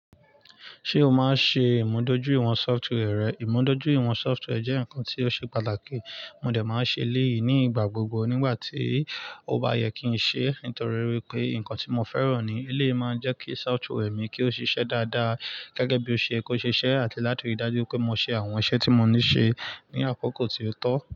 Ṣé o máa ń ṣe ìmúdójúìwọ̀n software rẹ? Ìmúdójúìwọ̀n software jẹ́ ǹkan tí ó ṣe pàtàkì. Mo dẹ̀ máa ń ṣe eléyì ni ígbà gbogbo nígbà tí ó bá yẹ kí n ṣe nítorí wípé ǹkan tí mo fẹ́ràn ni. Eléyì máa ń jẹ́ kí software mi kí ó ṣiṣẹ́ dáadáa gẹ́gẹ́ bí ó ṣe ye kó ṣiṣẹ́ àti láti ríi dájú pé mo ṣe àwọn iṣẹ́ tí mo ní ṣe ní àkókò tí ó tọ́.